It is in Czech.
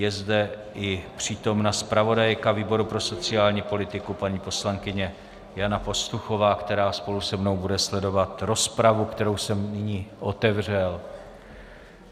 Je zde i přítomna zpravodajka výboru pro sociální politiku, paní poslankyně Jana Pastuchová, která spolu se mnou bude sledovat rozpravu, kterou jsem nyní otevřel.